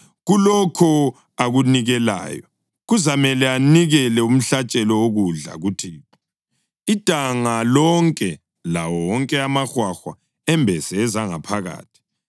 Kulokho akunikelayo, kuzamele anikele umhlatshelo wokudla kuThixo, idanga lonke lawo wonke amahwahwa embese ezangaphakathi,